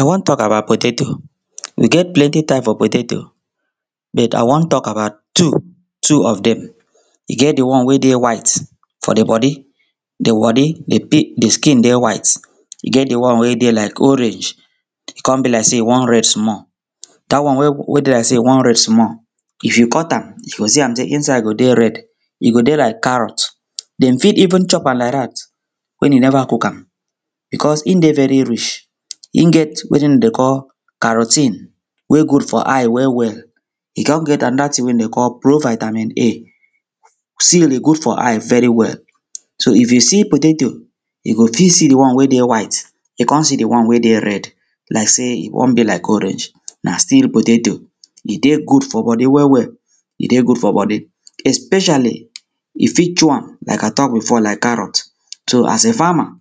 i wan tok abat potato we get plenti type of potato but i wan tok abat two two of dem e get di one wey dey white for di bodi di bodi di di skin dey white e get di one wey dey laik orange e com be laik sey e wan red small day wey dey laik sey e wan red small if you cut am you go see am sey insaid go dey red e go dey laik carrot dem fit even chop am laik dat wen e neva cook am bicos im de veri rich im get wetin dem dey call carotine wey good for eye well well e con get anoda ting wey dem dey call pro vitamin a sey e good for eye veri well so if you see potato you go fit see di one wey dey white you con see di one wey dey red laik sey e wan be laik orange na still potato e de good for bodi well well e dey good for bodi especially you fit chew am laik i tok bifo laik carrot so as a farmer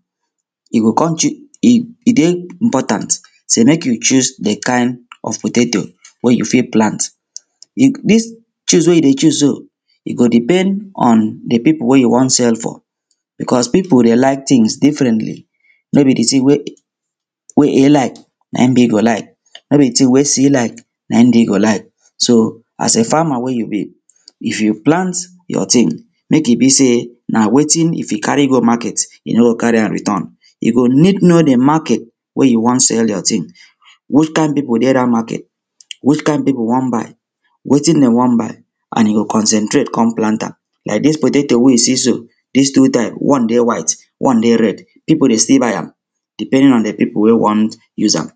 you go com cho- e e dey important sey mek you choose di kind of potato wey you fit plant dis choose wey you dey choose so e go depend on di pipo wey you wan sell for bicos pipo dey laik tings differently no be di ting wey a laik naim b go laik no be di tinng wey c laik naim d go laik so as a farmer wey you be if you plant yor ting mek e be sey na wetin if you cari go market you no go cari am return you go need know di market wey you wan sell yor ting which kain pipo dey dat market which kain pipo wan buy wetin dey wan buy and you go concentrate con plant am laik dis potato wey you see so dis two type one dey white one dey red pipo dey still buy am depending on di pipo wey wan use am